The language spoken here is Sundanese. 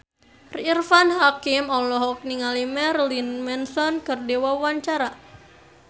Irfan Hakim olohok ningali Marilyn Manson keur diwawancara